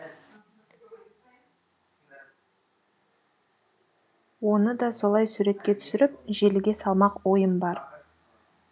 оны да солай суретке түсіріп желіге салмақ ойым бар